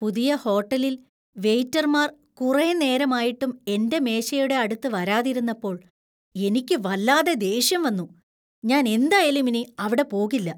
പുതിയ ഹോട്ടലില്‍ വെയിറ്റർമാർ കുറെ നേരമായിട്ടും എന്‍റെ മേശയുടെ അടുത്ത് വരാതിരുന്നപ്പോൾ എനിക്ക് വല്ലാതെ ദേഷ്യം വന്നു . ഞാൻ എന്തായാലും ഇനി അവിടെ പോകില്ല.